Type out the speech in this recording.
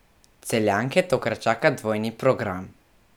Celjanke tokrat čaka dvojni program.